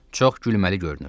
Çox gülməli görünürdü.